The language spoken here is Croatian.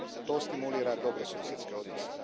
To stimulira dobrosusjedske odnose.